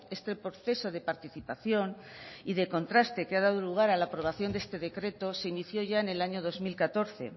este proceso de participación y de contraste que ha dado lugar a la aprobación de este decreto se inició ya en el año dos mil catorce